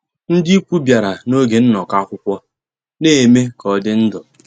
Ndị́ ìkwù bìàrà nògé nnọ́kọ́ àkwụ́kwọ́, ná-èmè ká ọ́ dị́ ndụ́.